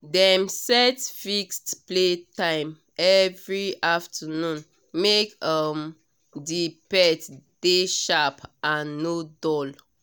dem set fixed playtime every afternoon make um the pet dey sharp and no dull